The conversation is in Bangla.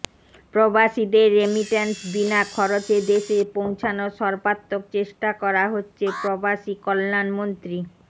প্রবাসীদের রেমিট্যান্স বিনা খরচে দেশে পৌঁছানোর সর্বাত্মক চেষ্টা করা হচ্ছে প্রবাসী কল্যাণমন্ত্রী